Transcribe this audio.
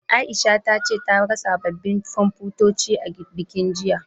Aisha ta ce ta ga sababbin Komfutoci a bankin, jiya.